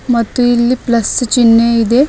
ಮತ್ತು ಇಲ್ಲಿ ಪ್ಲಸ್ ಚಿಹ್ನೆ ಇದೆ.